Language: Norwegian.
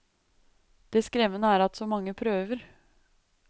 Det skremmende er at så mange prøver.